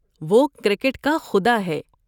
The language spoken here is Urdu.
وہ "کرکٹ کا خدا" ہے۔